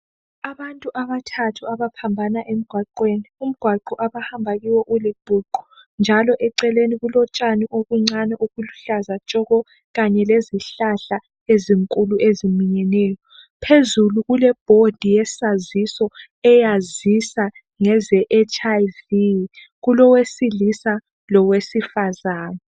Abantu abathathu abaphambana emgwaqweni umgwaqo abahamba kiwo ulibhuqu njalo eceleni kulotshani obuncane obuluhlaza tshoko kanye lezihlahla ezinkulu eziminyeneyo phezulu kule bhodi yesaziso eyazisa ngeze HIV kulowesilisa lowesifazana.